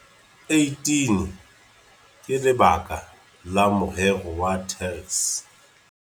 18 ka lebaka la morero wa TERS.